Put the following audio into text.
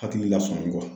Hakili lasɔmi kɔ